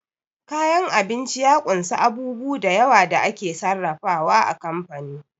Kayan abinci ya kunsa a bubu dayawa da ake sarrafa wa a kamfani